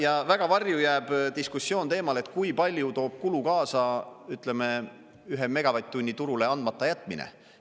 Ja väga varju jääb diskussioon teemal, et kui palju toob kulu kaasa, ütleme, ühe megavatt-tunni turule andmata jätmine.